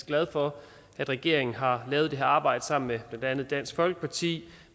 glad for at regeringen har lavet det her arbejde sammen med blandt andet dansk folkeparti